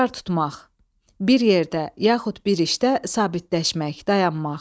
Qərar tutmaq, bir yerdə yaxud bir işdə sabitləşmək, dayanmaq.